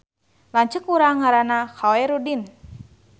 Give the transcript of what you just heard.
Lanceuk urang ngaranna Khoerudin